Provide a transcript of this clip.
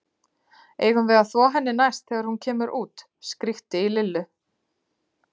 Eigum við að þvo henni næst þegar hún kemur út? skríkti í Lillu.